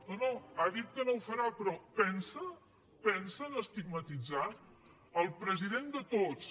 no no ha dit que no ho farà però pensa en estigmatitzar el president de tots